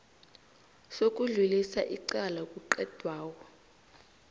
sokudlulisa icala kuqedwako